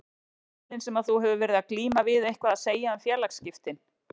Hafa meiðslin sem að þú hefur verið að glíma við eitthvað að segja um félagsskiptin?